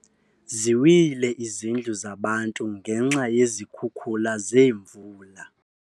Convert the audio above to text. Ziwile izindlu zabantu ngenxa yezi zikhukhula zeemvula.